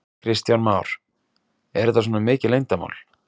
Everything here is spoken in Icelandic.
Kristján Már: Er þetta svona mikið leyndarmál?